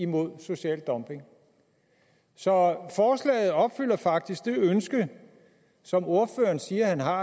mod social dumping så forslaget opfylder faktisk det ønske som ordføreren siger han har